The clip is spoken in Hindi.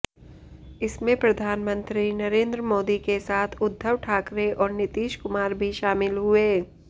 इसमें प्रधानमंत्री नरेंद्र मोदी के साथ उद्धव ठाकरे और नीतीश कुमार भी शामिल हुए